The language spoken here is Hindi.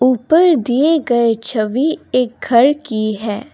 ऊपर दिए गए छवि एक घर की है।